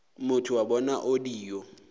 motho wa bona o dio